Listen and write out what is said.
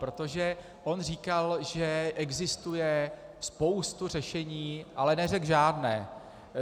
Protože on říkal, že existuje spousta řešení, ale neřekl žádné.